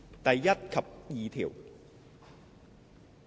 第1及2條。